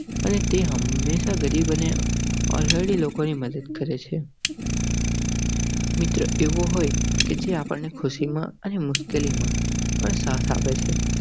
અને તે હમેશાં ગરીબ અને elderly લોકોની મદદ કરેં છે. મિત્ર એવો હોય કે જે આપણને ખુશીમાં અને મુશ્કેલીમાં સાથ આપે છે.